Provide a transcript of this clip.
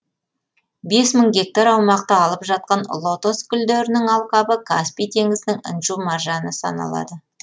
бес мың гектар аумақты алып жатқан лотос гүлдерінің алқабы каспий теңізінің інжу маржаны саналады